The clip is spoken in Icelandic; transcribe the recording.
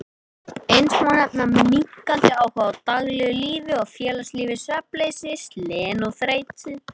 Eins má nefna minnkandi áhuga á daglegu lífi og félagslífi, svefnleysi, slen og þreytu.